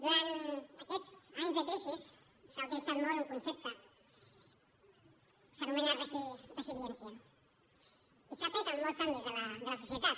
durant aquests anys de crisi s’ha utilitzat molt un concepte s’anomena resiliència i s’ha fet en molts àmbits de la societat